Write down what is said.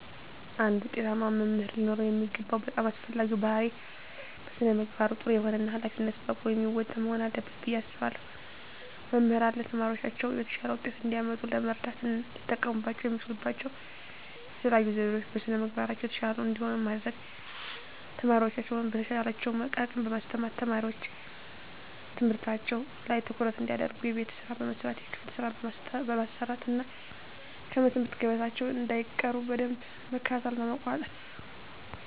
አንድ ውጤታማ መምህር ሊኖረው የሚገባው በጣም አስፈላጊው ባህሪይ በስነ ምግባሩ ጥሩ የሆነ እና ሀላፊነቱን በአግባቡ የሚወጣ መሆን አለበት ብየ አስባለሁ። መምህራን ለተማሪዎቻቸው የተሻለ ውጤት እንዲያመጡ ለመርዳት ሊጠቀሙባቸው የሚችሉባቸው የተለዩ ዘዴዎች - በስነ ምግባራቸው የተሻሉ እንዲሆኑ ማድረግ፣ ተማሪዎቻቸውን በተቻላቸው አቅም በማስተማር፣ ተማሪዎች ትምህርታቸው ላይ ትኩረት እንዲያደርጉ የቤት ስራ በመስጠት የክፍል ስራ በማሰራት እና ከትምህርት ገበታቸው እንዳይቀሩ በደንብ መከታተልና መቆጣጠር።